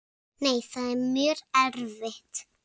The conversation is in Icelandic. Nei, það er mjög erfitt.